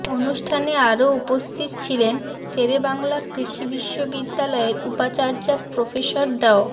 অনুষ্ঠানে আরও উপস্থিত ছিলেন শেরেবাংলা কৃষি বিশ্ববিদ্যালয়ের উপাচার্য প্রফেসর ড